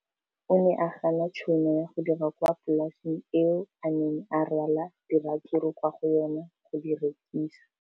O ne a gana tšhono ya go dira kwa polaseng eo a neng rwala diratsuru kwa go yona go di rekisa.